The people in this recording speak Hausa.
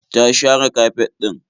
Ta share kafet ɗin.